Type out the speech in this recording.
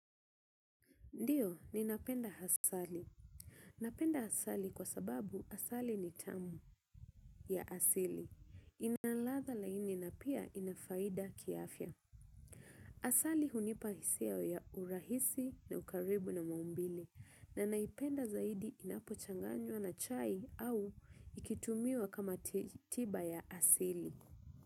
Ndio, ninapenda asali. Napenda asali kwa sababu asali ni tamu ya asili. Ina ladha laini na pia ina faida kiafya. Asali hunipa hisia ya urahisi na ukaribu na maumbile. Na naipenda zaidi inapochanganywa na chai au ikitumiwa kama tiba ya asili.